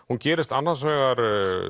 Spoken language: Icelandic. hún gerist annars vegar